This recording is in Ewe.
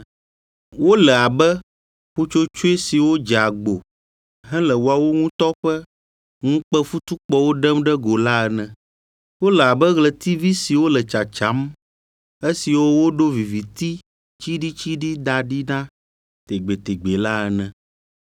Wole abe ƒutsotsoe siwo dze agbo hele woawo ŋutɔ ƒe ŋukpefutukpɔwo ɖem ɖe go la ene. Wole abe ɣletivi siwo le tsatsam, esiwo woɖo viviti tsiɖitsiɖi da ɖi na tegbetegbe la ene.